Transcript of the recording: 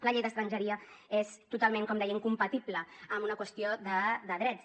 la llei d’estrangeria és totalment com deia incompatible amb una qüestió de drets